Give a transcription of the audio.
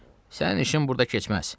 "Sənin işin burda keçməz.